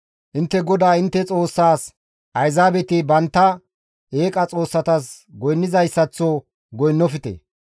Intte GODAA intte Xoossaas ayzaabeti bantta eeqa xoossatas goynnizayssaththo goynnofte.